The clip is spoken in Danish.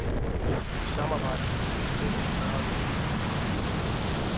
Vi samarbejder med universiteter i fyrre lande.